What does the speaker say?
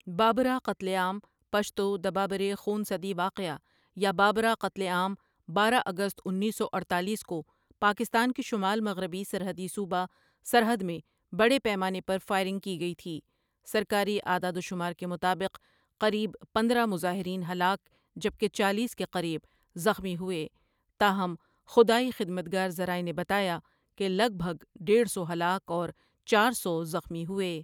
بابرہ قتل عام پشتو د بابړې خون صدی واقعہ، یا بابرا قتل عام بارہ اگست انیس سو اڈتالیس کو پاکستان کے شمال مغربی سرحدی صوبہ سرحد میں بڑے پیمانے پر فائرنگ کی گئی تھی سرکاری اعداد و شمار کے مطابق ، قریب پندرہ مظاہرین ہلاک جبکہ چالیس کے قریب زخمی ہوئے تاہم ، خدائی خدامتگر ذرائع نے بتایا کہ لگ بھگ ڈیڑھ سو ہلاک اور چار سو زخمی ہوئے۔